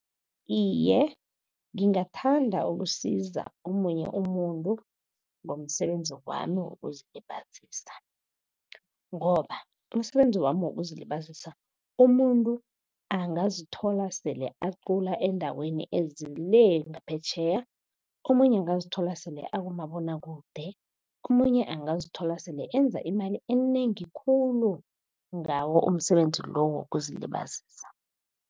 Iye, ngingathanda ukusiza omunye umuntu ngomsebenzi wami wokuzilibazisa, ngoba umsebenzi wami wokuzilibazisa umuntu angazithola sele acula endaweni ezile ngaphetjheya. Omunye angazithola sele akumabonwakude. Omunye angazithola sele enza imali enengi khulu ngawo umsebenzi lo wokuzilibazisa.